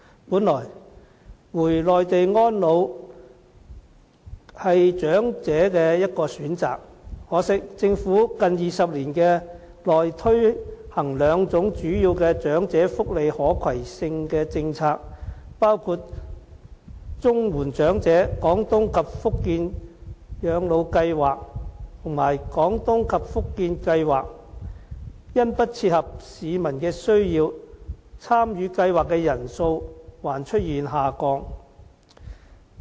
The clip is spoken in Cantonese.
本來，回內地安老是長者的一個選擇，可惜，政府近20年內推行兩種主要的長者福利可攜性的政策，包括綜援長者廣東及福建省養老計劃和"廣東計劃"及"福建計劃"，因不切合市民的需要，參與計劃的人數還出現下降。